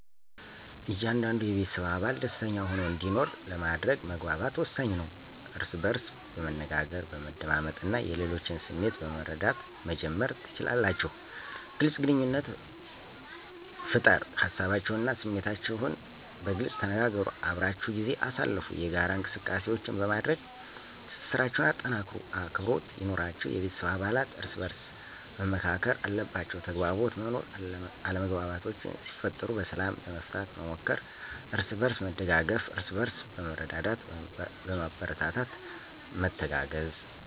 እያንዳንዱ የቤተሰብ አባል ደሰተኛ ሆኖ እንዲኖር ለማድረግ መግባባት ወሳኝ ነው። እርስ በእርስ በመነጋገር፣ በመደማመጥ እና የሌሎችን ስሜት በመረዳት መጀመር ትችላላችሁ። __ግልፅ ግንኙነት ፍጠር ሀሳባቸውን እና ስሜታችሁን በግልፅ ተነጋገሩ። _አብራችሁ ጊዜ አሳልፉ የጋራ እንቅሰቃሴዎች በማድረግ ትስስራቸሁን አጠናክሩ። _አክብሮት ይኑራችሁ የቤተሰብ አባለት እርሰበአርስ መከባበር አለባቸዉ። _ተግባቦት መኖር አለመግባባቶች ሲፈጠሩ በሰላም ለመፍታት መሞከር። አርስበእርስ መደጋገፍ እርስበእርስ በመረዳዳትና በማበረታታት መተጋገዝ።